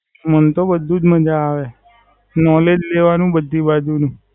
મને તો બધું જ માજા આવે. નોલેજ લેવાનું બધી જ બાજુ થી.